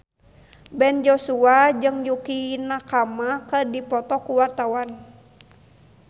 Ben Joshua jeung Yukie Nakama keur dipoto ku wartawan